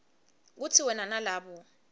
kutsi wena nalabo